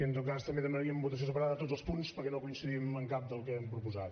en tot cas també demanaríem votació separada de tots els punts perquè no coincidim amb cap dels que han proposat